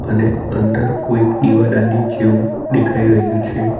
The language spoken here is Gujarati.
અને અંદર કોઈક દીવાદાંડી જેવું દેખાઈ રહ્યું છે.